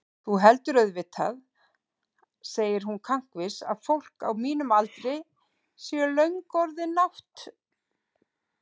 Þú heldur auðvitað, segir hún kankvís, að fólk á mínum aldri sé löngu orðið nátt-